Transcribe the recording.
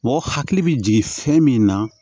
Mɔgɔ hakili bɛ jigin fɛn min na